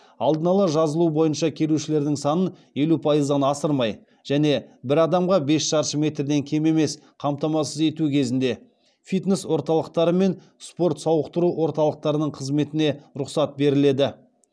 алдын ала жазылу бойынша келушілердің санын елу пайыздан асырмай және бір адамға бес шаршы метрден кем емес қамтамасыз ету кезінде фитнес орталықтары мен спорт сауықтыру орталықтарының қызметіне рұқсат беріледі